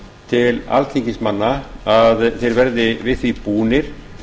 til alþingismanna að þeir verði við því búnir